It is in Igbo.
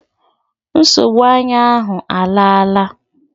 Nsogbu anya ahụ alaala